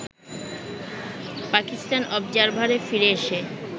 পাকিস্তান অবজারভারে ফিরে এসে